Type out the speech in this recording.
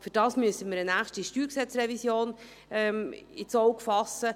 Dafür müssen wir eine nächste StG-Revision ins Auge fassen.